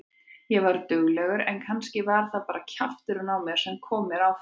Ég var duglegur en kannski var það bara kjafturinn á mér sem kom mér áfram.